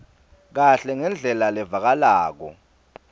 kahle ngendlela levakalako